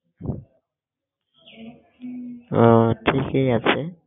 আহ ঠিকই আছে